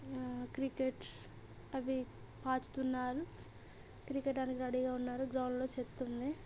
ఆ క్రికెట్ స్ అవి ఆడుతున్నారు క్రికెట్ ఆడడానికి రెడీ గా ఉన్నారు గ్రౌండ్ లో చెత్త ఉంది.